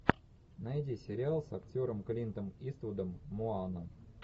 найди сериал с актером клинтом иствудом моана